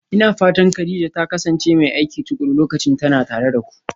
Ina fatan Kadija ta kasance mai aiki tuƙuru lokacin tana tare da ku?